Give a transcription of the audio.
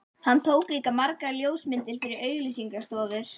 Hann tók líka margar ljósmyndir fyrir auglýsingastofur.